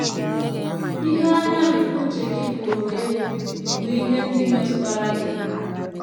Ihe anya nke uche gị pụrụ ịhụ bụ ihe ndị metụtara gị.